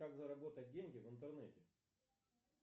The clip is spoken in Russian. как заработать деньги в интернете